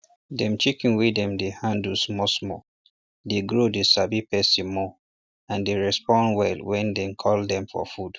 dem chicken wey dem dey handle small small dey grow dey sabi person more and dey respond well wen dey call dem for food